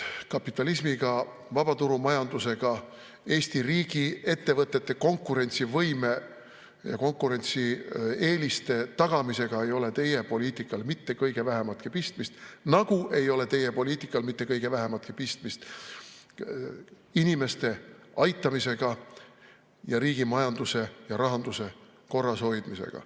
Kapitalismiga, vabaturumajandusega, Eesti riigi ettevõtete konkurentsivõime ja konkurentsieeliste tagamisega ei ole teie poliitikal mitte kõige vähematki pistmist, nagu ei ole teie poliitikal mitte kõige vähematki pistmist inimeste aitamisega ning riigi majanduse ja rahanduse korrashoidmisega.